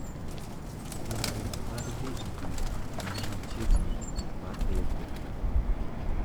yore mag dhi e duka man machiegni ma apple